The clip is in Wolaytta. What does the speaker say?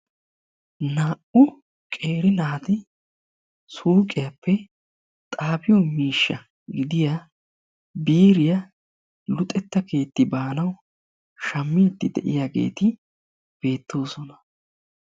Naa"u qeeri naati suuqiyaappe xaafiyoo miishsha gidiyaa biiriyaa luxetta keetti baanawu shaammidi de'iyaageti beettoosoona.